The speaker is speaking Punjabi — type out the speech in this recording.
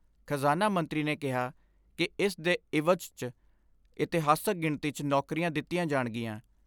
ਖਜ਼ਾਨਾ ਮੰਤਰੀ ਨੇ ਕਿਹਾ ਕਿ ਇਸ ਦੇ ਇਵਜ਼ 'ਚ ਇਤਿਹਾਸਕ ਗਿਣਤੀ 'ਚ ਨੌਕਰੀਆਂ ਦਿੱਤੀਆਂ ਜਾਣਗੀਆਂ।